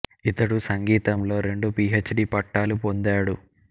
ఇతడు సంగీతంలో రెండు పి హెచ్ డి పట్టాలు పొందాడు